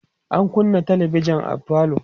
an kunnâ talabijan a falo